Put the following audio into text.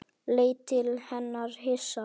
Leit til hennar hissa.